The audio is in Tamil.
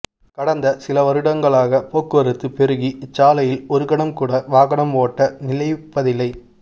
கடந்த சில வருடங்களாக போக்குவரத்து பெருகி இச்சாலையில் ஒருகணம்கூட வாகன ஓட்டம் நிலைப்பதில்லை